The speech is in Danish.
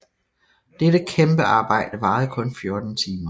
Dette kæmpe arbejde varede kun 14 timer